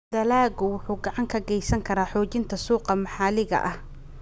Dalaggu wuxuu gacan ka geysan karaa xoojinta suuqa maxalliga ah.